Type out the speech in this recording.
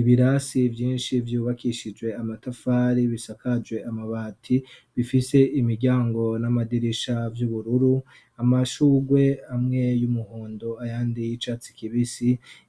ibirasi byinshi byubakishije amatafari bisakajwe amabati bifise imiryango n'amadirisha by'ubururu amashugwe amwe y'umuhondo ayandiye icatsi kibisi